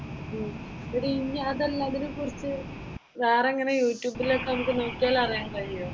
ഉം എടി ഇനി അതല്ല അതിനെക്കുറിച്ച് വേറെ ഇങ്ങനെ യൂട്യൂബിലൊക്കെ നമ്മുക്ക് നോക്കിയാൽ അറിയാൻ കഴിയുമോ?